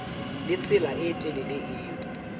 le tsela e telele eo